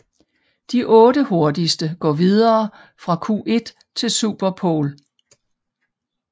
De 8 hurtigste går videre fra Q1 til Super pole